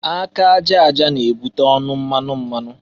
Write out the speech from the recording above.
Aka aja aja na-ebute ọnụ mmanụ mmanụ.